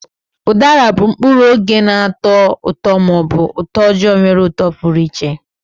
Udara bụ mkpụrụ oge na-atọ ụtọ ma ọ bụ utoojoo nwere uto pụrụ iche.